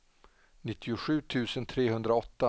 nittiosju tusen trehundraåtta